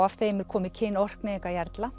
af þeim er komið kyn